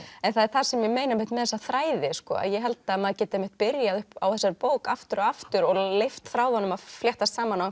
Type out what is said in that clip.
það er það sem ég meina með þessa þræði sko ég held að maður geti byrjað á þessari bók aftur og aftur og leyft þráðunum að fléttast saman á